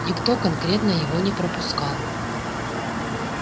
никто конкретно его не пропускал